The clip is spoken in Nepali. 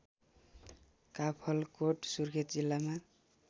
काफलकोट सुर्खेत जिल्लामा